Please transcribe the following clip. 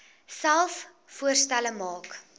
selfs voorstelle maak